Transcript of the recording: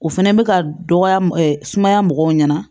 O fɛnɛ bɛ ka dɔgɔya sumaya mɔgɔw ɲɛna